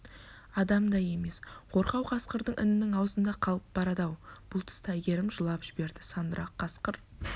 адам да емес қорқау қасқырдың інінің аузында қалып барады-ау бұл тұста әйгерім жылап жіберді сандырақ қасқыр